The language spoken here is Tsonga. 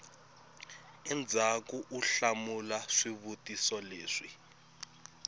endzhaku u hlamula swivutiso leswi